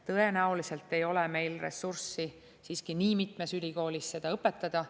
Tõenäoliselt ei ole meil ressurssi siiski nii mitmes ülikoolis seda õpetada.